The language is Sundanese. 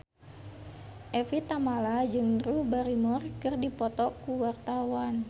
Evie Tamala jeung Drew Barrymore keur dipoto ku wartawan